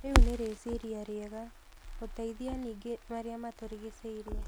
Rĩu nĩ rĩciria rĩega. Gũteithia ningĩ marĩa matũrigicĩirie.